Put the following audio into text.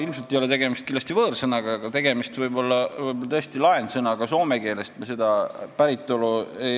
Ilmselt ei ole see võõrsõna, võib-olla on see tõesti laensõna soome keelest.